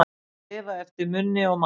Að lifa eftir munni og maga